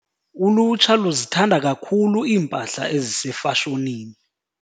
Ulutsha luzithanda kakhulu iimpahla ezisefashonini.